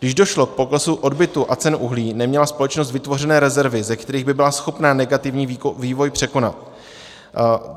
Když došlo k poklesu odbytu a cen uhlí, neměla společnost vytvořené rezervy, ze kterých by byla schopna negativní vývoj překonat.